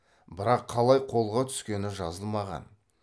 бірақ қалай қолға түскені жазылмаған